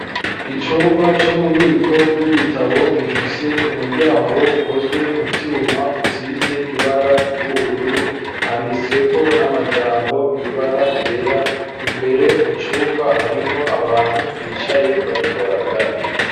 Icumba c'ububiko bw'ibitabo gifise umuryango ukozwe mu vyuma usize ibara ry'ubururu handitseko n'amajambo my'ibara gera imbere mu cumba harimwo abantu bicaye bariko baraganira.